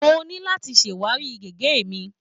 Mo ní láti ṣàwárí gègé mi.